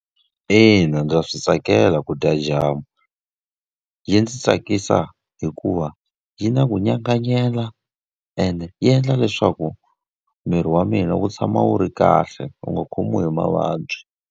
Ina ndza swi tsakela ku dya jam. Yi ndzi tsakisa hikuva yi na ku nyanganyela ene yi endla leswaku miri wa mina wu tshama wu ri kahle, wu nga khomiwi hi mavabyi.